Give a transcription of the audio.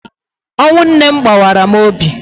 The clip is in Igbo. Ọnwụ nne m gbawara m obi